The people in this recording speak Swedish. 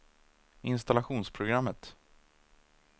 installationsprogrammet